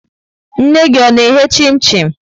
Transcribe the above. Nne gị ọ na-eghe chim-chim?